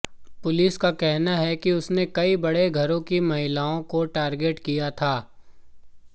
police का कहना है कि उसने कई बड़े घरों की महिलाओं को टारगेट किया था